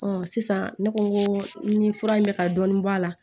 sisan ne ko ko ni fura in bɛ ka dɔɔnin b'a la